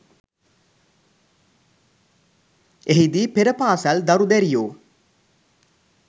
එහිදී පෙර පාසල් දරු දැරියෝ